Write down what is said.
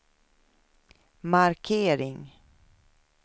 markering